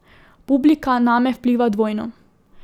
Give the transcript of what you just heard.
Publika name vpliva dvojno.